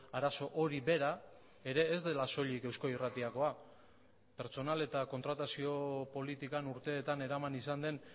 arazo hori bera ere ez dela soilik eusko irratikoa pertsonal eta kontratazio politikan urteetan eraman izan den